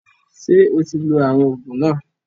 Ṣé o ti lo àwọn òògùn náà?